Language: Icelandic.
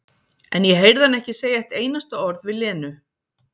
En ég heyrði hana ekki segja eitt einasta orð við Lenu.